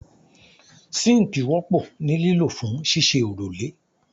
Síńkì wọ́pọ̀ ní lílò fún ṣíṣe òrùlé